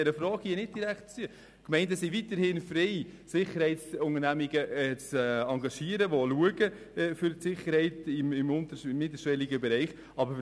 Die Gemeinden sind weiterhin frei, Sicherheitsunternehmungen zu engagieren, die für die Sicherheit im untersten und mittelschwelligen Bereich sorgen.